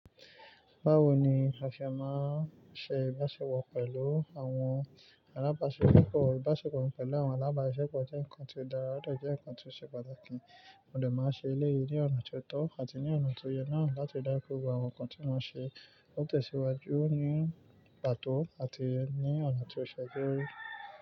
Báwo ni a ṣe máa n ṣe ìbáṣepọ̀ pẹ̀lú àwọn alábáṣepọ̀? Ìbáṣepọ̀ pẹ̀lú àwọn alábásiṣepọ̀ jẹ́ nǹkan tí ó dára, ó de jẹ́ nǹkan tí ó ṣe pàtàkì, mo dẹ̀ máa n ṣe elèyí ní ọ̀nà tí ó tọ́ àti ní ọ̀nà tó yẹ naa lati dá ki gbogbo àwọn nǹkan tí mo ń ṣe kó tẹ̀síwájú ní pàtó àti ní ọ̀nà tí ó ṣe é ṣe.